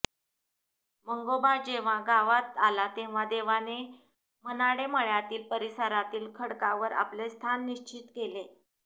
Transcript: मंगोबा जेव्हा गावात आला तेव्हा देवाने मनाडे मळ्यातील परिसरातील खडकावर आपले स्थान निश्चित केले